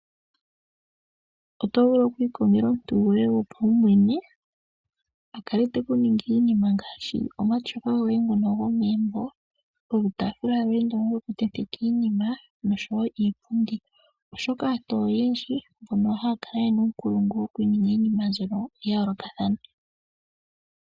Oto vulu okwii kongela omuntu goye gopaumwene a kale tekuningile iinima yoye ngaashi omatyofa gomegumbo, iitaafula yoye yo kuntenteka iinima, oshoka aantu oyindji mboka yena uunkulungu yoku eta po iinima mbyoka yayoolokathana.